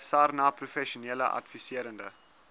sarnap professionele adviserende